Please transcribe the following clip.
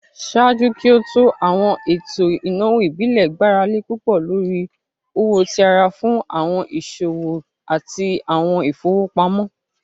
Ṣaaju ki o to, awọn eto inawo ibile gbarale pupọ lori owo ti ara fun awọn iṣowo ati awọn ifowopamọ.